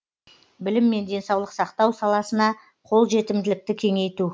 білім мен денсаулық сақтау саласына қолжетімділікті кеңейту